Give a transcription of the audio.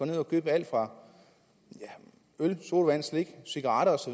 ned og købe alt fra øl sodavand slik cigaretter osv